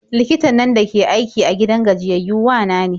Likitan nan dake aiki a gidan gajiyayyau wa na ne.